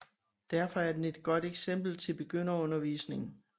Derfor er den et godt eksempel til begynderundervisning